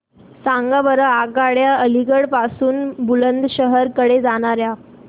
सांगा बरं आगगाड्या अलिगढ पासून बुलंदशहर कडे जाणाऱ्या